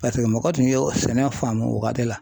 Paseke mɔgɔ tun ye sɛnɛ faamu o waati la.